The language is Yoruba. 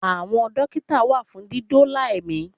Àwọn Dókítà wà fún dídóòlà ẹ̀mí